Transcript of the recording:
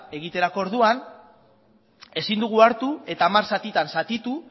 egiterako orduan ezin dugu hartu eta hamar zatitan zatitu